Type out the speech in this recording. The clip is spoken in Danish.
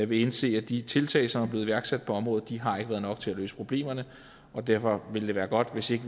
vil indse at de tiltag som er blevet iværksat på området ikke har været nok til at løse problemerne og derfor vil det være godt hvis vi